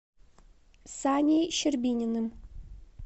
саней щербининым